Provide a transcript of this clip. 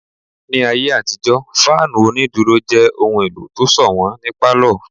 Ní ayé àtijó, fáànù onídúró jẹ́ ohun èlò kan tó sọ̀wọ́n ní pálọ̀